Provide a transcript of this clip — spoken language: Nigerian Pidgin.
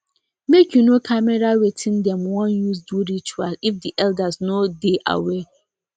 make you no camera wattin dem won use do ritual if the elder no dey aware